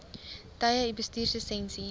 tye u bestuurslisensie